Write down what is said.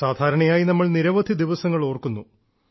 സാധാരണയായി നമ്മൾ നിരവധി ദിവസങ്ങൾ ഓർക്കുന്നു